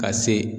Ka se